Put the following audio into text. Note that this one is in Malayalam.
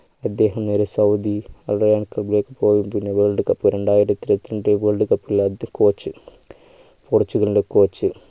അദ്ദേഹം നേരെ സൗദി അറേബ്യയിലേക്ക് പോയി പിന്നെ world cup രണ്ടായിരത്തിഇരുപത്തിരണ്ട്‍ world cup ൽ അദ്ദേഹം coach പോർച്ചുഗലിൻ്റെ coach